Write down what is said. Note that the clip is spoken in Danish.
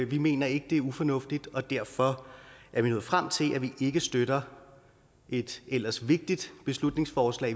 vi mener ikke det er ufornuftigt og derfor er vi nået frem til at vi ikke støtter et ellers vigtigt beslutningsforslag